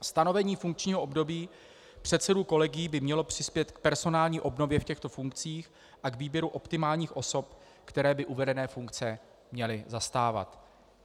Stanovení funkčního období předsedů kolegií by mělo přispět k personální obnově v těchto funkcích a k výběru optimálních osob, které by uvedené funkce měly zastávat.